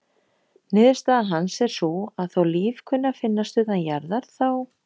Niðurstaða hans er sú að þó líf kunni að finnast utan jarðar þá:.